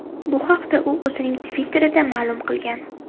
Bu haqda u o‘zining Twitter’ida ma’lum qilgan .